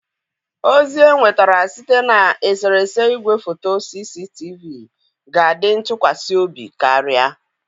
Ozi enwetara site na eserese igwefoto CCTV ga-adi ntụkwasị obi karịa.